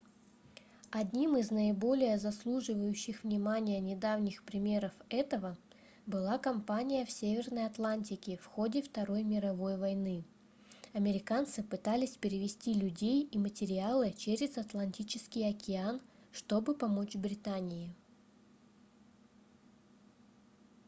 одним из наиболее заслуживающих внимания недавних примеров этого была компания в северной атлантике в ходе второй мировой войны американцы пытались перевезти людей и материалы через атлантический океан чтобы помочь британии